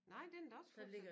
Nej men den er da også flyttet så